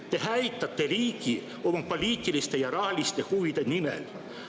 Te hävitate riigi oma poliitiliste ja rahaliste huvide nimel.